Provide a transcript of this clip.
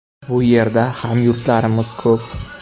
Bu yerda hamyurtlarimiz ko‘p.